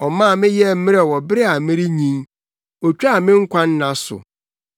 Ɔmaa me yɛɛ mmerɛw wɔ bere a merenyin. Otwaa me nkwa nna so.